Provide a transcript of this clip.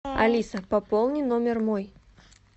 алиса пополни номер мой